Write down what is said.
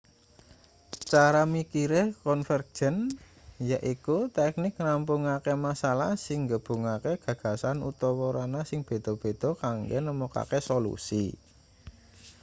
cara mikire konvergen yaiku teknik ngrampungake masalah sing nggabungake gagasan utawa ranah sing beda-beda kanggo nemokake solusi